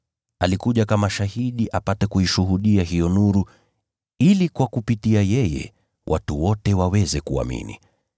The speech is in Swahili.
Alikuja kama shahidi apate kuishuhudia hiyo nuru, ili kwa kupitia kwake watu wote waweze kuamini.